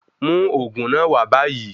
Mú òògùn náà wa báyìí